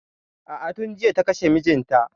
A'a tun jiya ta kashe mijinta.